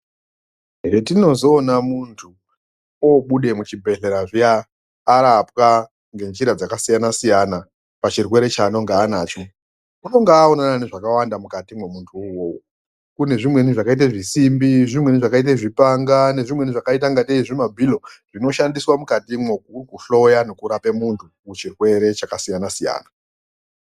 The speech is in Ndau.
Zvetinozoona muntu abude muzvibhedhlera zviya arapwa ngenzira dzakasiyana-siyana pachirwere chaanonga anacho, unonga aonana nezvakawanda mukati muntu uwowo kune zvimweni zvakaita zvisimbi nezvimweni zvakaita zvipanga nezvimweni zvakaita kunge zvimabhilo zvinoshandiswa mukati imomo kuhloya nekurape muntu muchirwere chakasiyana siyana.